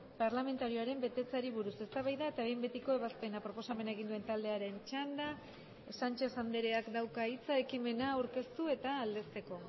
parlamentarioaren betetzeari buruz eztabaida eta behin betiko ebazpena proposamena egin duen taldearen txanda sánchez andreak dauka hitza ekimena aurkeztu eta aldezteko